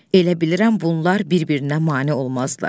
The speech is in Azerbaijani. Elə bilirəm bunlar bir-birinə mane olmazlar.